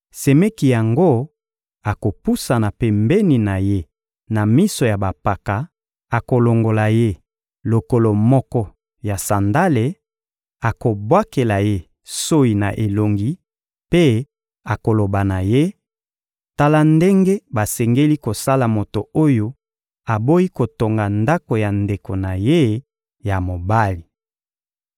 semeki yango akopusana pembeni na ye na miso ya bampaka, akolongola ye lokolo moko ya sandale, akobwakela ye soyi na elongi, mpe akoloba na ye: «Tala ndenge basengeli kosala moto oyo aboyi kotonga ndako ya ndeko na ye ya mobali.»